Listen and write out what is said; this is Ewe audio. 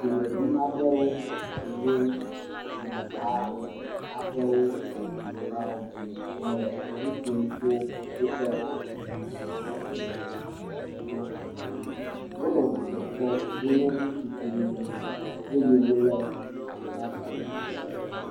Dumevi aɖewo si nye dumeha aɖewo menɔlawo le nu ƒom tso woƒe dunyahehakplɔla ŋuti na amewo. Wonɔ dzidzɔ kpɔm. Wonye ŋutsu kple nyɔnuwo eye wolé aflagawo ɖe asi.